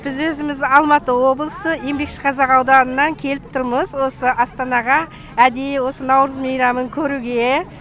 біз өзіміз алматы облысы еңбекшіқазақ ауданынан келіп тұрмыз осы астанаға әдейі осы наурыз мейрамын көруге